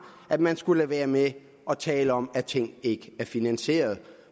at man skulle lade være med at tale om at ting ikke er finansieret